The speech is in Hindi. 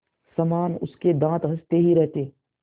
समान उसके दाँत हँसते ही रहते